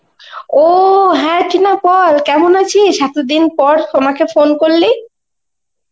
ও হ্যাঁ টিনা বল কেমন আছিস, এতদিন পর সোমাকে ফোন করলি.